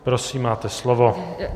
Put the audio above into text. Prosím, máte slovo.